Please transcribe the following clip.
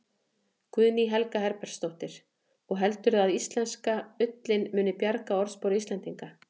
Guðný Helga Herbertsdóttir: Og heldurðu að íslenska ullin muni bjarga orðspori Íslendinga?